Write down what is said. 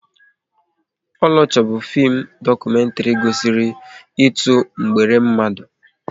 Oloture bụ fim dokumentri gosiri ịtụ mgbere mmadụ